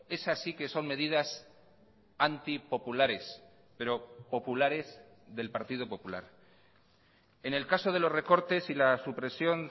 esas sí que son medidas antipopulares pero populares del partido popular en el caso de los recortes y la supresión